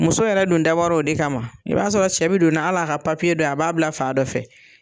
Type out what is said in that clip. Muso yɛrɛ dun dabɔr'o de kama. I b'a sɔrɔ cɛ be don n'a hal'a ka dɔ ye a b'a bila fa dɔ fɛ.